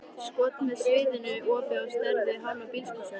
skot með sviðnu opi á stærð við hálfa bílskúrshurð.